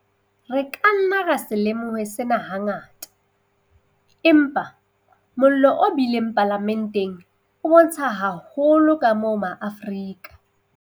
Re ka nna ra se lemohe sena hangata, empa mollo o bileng Palamenteng o bontsha haholo kamoo ma Afrika